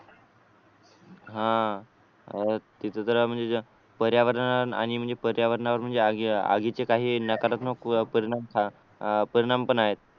हा तिथे म्हणजे पर्यावरण आणि म्हणजे पर्यावरणावर म्हणजे आगीचे काही नकारात्मक परिणाम परिणाम पण आहेत